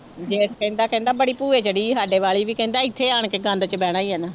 ਜੇਠ ਕਹਿੰਦਾ ਕਹਿੰਦਾ ਬੜੀ ਭੂਏ ਜਿਹੜੀ ਸਾਡੇ ਵਾਲੀ ਵੀ ਕਹਿੰਦਾ ਇੱਥੇ ਆਣ ਕੇ ਗੰਦ ਚ ਬਹਿਣਾ ਹੀ ਹੈ ਨਾ।